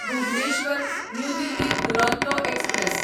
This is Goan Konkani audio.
Bhubaneswar New Delhi Duronto express